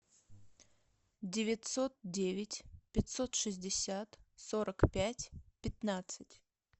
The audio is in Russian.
девятьсот девять пятьсот шестьдесят сорок пять пятнадцать